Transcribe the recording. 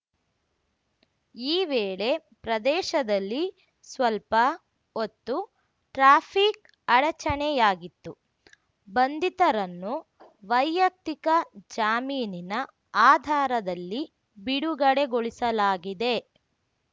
ಈ ವೇಳೆ ಪ್ರದೇಶದಲ್ಲಿ ಸ್ವಲ್ಪ ಹೊತ್ತು ಟ್ರಾಫಿಕ್‌ ಅಡಚಣೆಯಾಗಿತ್ತು ಬಂಧಿತರನ್ನು ವೈಯಕ್ತಿಕ ಜಾಮೀನಿನ ಆಧಾರದಲ್ಲಿ ಬಿಡುಗಡೆಗೊಳಿಸಲಾಗಿದೆ